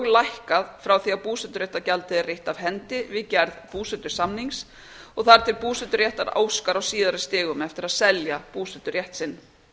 lækkað frá því að búseturéttargjaldið er reitt af hendi við gerð búsetusamnings og þar til búseturéttarhafi óskar á síðari stigum eftir að selja búseturétt sinn